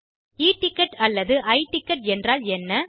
e ticket அல்லது i ticket என்றால் என்ன